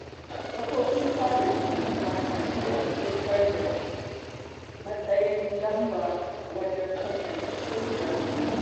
Kafofin sada zumunta na iya haifar da matsin lamba wajen kwatanta kai da wasu.